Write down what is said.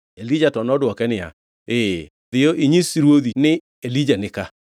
Elija to nodwoke niya, “Ee. Dhiyo inyis ruodhi ni, ‘Elija nika.’ ”